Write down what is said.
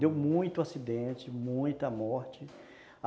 Deu muito acidente, muita morte.